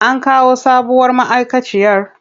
An kawo sabuwar ma'aikaciyar?